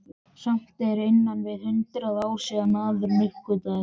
Samt eru innan við hundrað ár síðan maðurinn uppgötvaði þær.